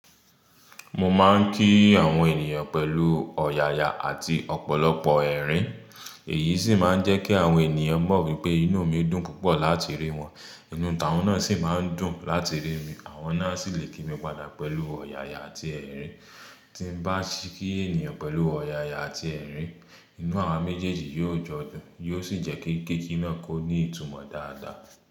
Mo máa ń kí àwọn ènìyàn pẹ̀lú ọ̀yàyà àti ọ̀pọ̀lọpọ̀ ẹ̀rín, èyí sì máa ń jẹ́ kí àwọn ènìyàn mọ̀ wípé inú mi dùn púpọ̀ láti rí wọn. Inú ìtàwọn náà sì máa ń dùn láti rí mi. Àwọn náà sì lè kí mi padà pẹ̀lú ọ̀yàyà àti ẹ̀rín. Tí n bá ṣe kí ènìyàn pẹ̀lú ọ̀yàyà àti ẹ̀rín, inú àwa méjèèjì yóò jọ dùn, yóò sì jẹ́ kí kíki náà kó ní ìtumọ̀ dáadáa.